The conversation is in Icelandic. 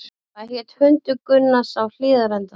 Hvað hét hundur Gunnars á Hlíðarenda?